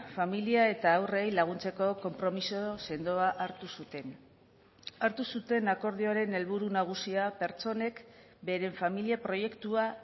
familia eta haurrei laguntzeko konpromiso sendoa hartu zuten hartu zuten akordioaren helburu nagusia pertsonek beren familia proiektua